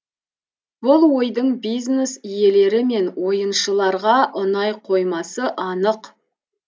бұл ойдың бизнес иелері мен ойыншыларға ұнай қоймасы анық